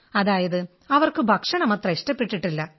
അതായത് അവർക്ക് ഭക്ഷണം അത്രയ്ക്ക് ഇഷ്ടപ്പെട്ടില്ല